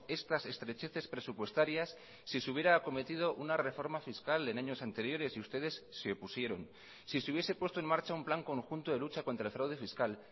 estas estrecheces presupuestarias si se hubiera acometido una reforma fiscal en años anteriores y ustedes se opusieron si se hubiese puesto en marcha un plan conjunto de lucha contra el fraude fiscal